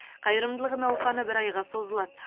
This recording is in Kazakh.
қайырымдылық науқаны бір айға созылады